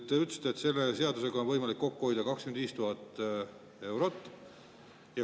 Te ütlesite, et selle seadusega on võimalik kokku hoida 25 000 eurot.